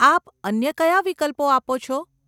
આપ અન્ય કયા વિકલ્પો આપો છે?